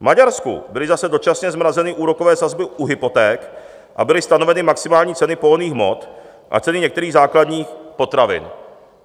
V Maďarsku byly zase dočasně zmrazeny úrokové sazby u hypoték a byly stanoveny maximální ceny pohonných hmot a ceny některých základních potravin.